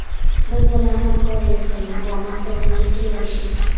Biz bilan hamkorlik qiling va maqsadingizga erishing!